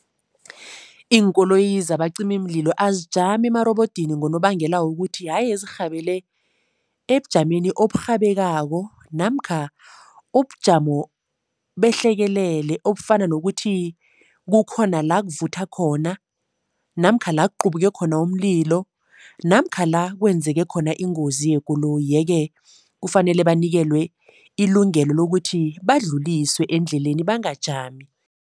Iinkoloyi zabacimimlilo azijami emarobodini ngonobangela wokuthi haye zirhabele ebujameni oburhabeko namkha ubujamo behlekelele obufana nokuthi kukhona la kuvutha khona namkha la kuqubuke khona umlilo namkha la kwenzeke khona ingozi yekoloyi yeke kufanele banikelwe ilungelo lokuthi badluliswe endleleni, bangajami.